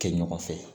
Kɛ ɲɔgɔn fɛ